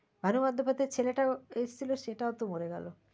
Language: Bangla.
ভানু বন্দোপাধ্যায়ের ছেলেটাও এসেছিল সেটাও তো মরে গেল।